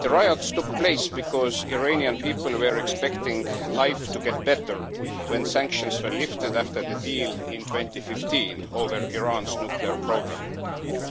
The riots took place because Iranian people were expecting life to get better when sanctions were lifted after the deal in 2015 over Iran's nuclear programme,